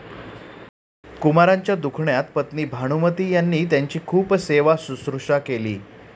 कुमारांच्या दुखण्यात पत्नी भानुमती यांनी त्यांची खूप सेवाशुश्रूषा केली.